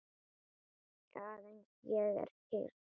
Aðeins ég er kyrr.